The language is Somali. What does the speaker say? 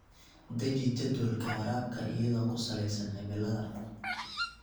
Deji jadwalka waraabka iyadoo ku saleysan cimilada.